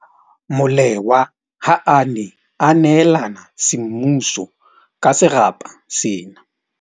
Molewa ha a ne a neelana semmuso ka serapa sena.